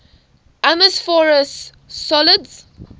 amorphous solids